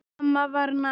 Mamma var næm.